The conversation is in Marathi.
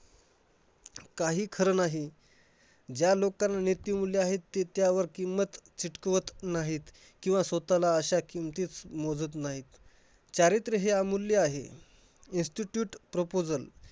काही खरं नाही. ज्या लोकांना नीतिमूल्य आहेत ते त्यावर किंमत चिटकवत नाहीत. किंवा स्वतःला अश्या किमतीत मोजत नाहीत. चारित्र हे अमूल्य आहे. Institute proposal